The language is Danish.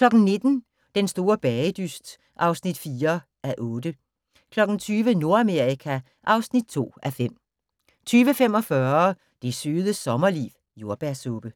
19:00: Den store bagedyst (4:8) 20:00: Nordamerika (2:5) 20:45: Det Søde Sommerliv – Jordbærsuppe